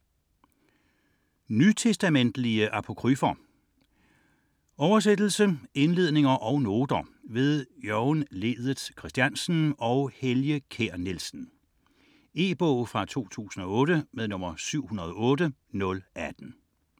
22.8 Nytestamentlige apokryfer Oversættelse, indledninger og noter ved Jørgen Ledet Christiansen og Helge Kjær Nielsen. E-bog 708018 2008.